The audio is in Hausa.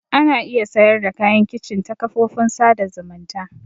Ana iya sayar da kayan kicin ta kafofin sada zumunta.